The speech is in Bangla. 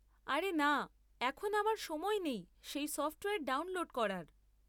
আরে না, এখন আমার সময় নেই সেই সফ্টওয়ার ডাউনলোড করার।